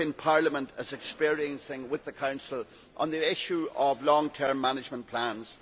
Parliament is experiencing with the Council on the issue of long term management plans.